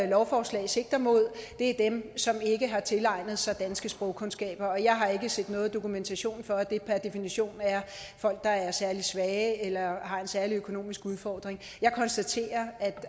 lovforslag sigter mod er dem som ikke har tilegnet sig danske sprogkundskaber og jeg har ikke set nogen dokumentation for at det per definition er folk der er særlig svage eller har en særlig økonomisk udfordring jeg konstaterer at